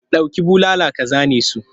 Dauki bulala ka zane su!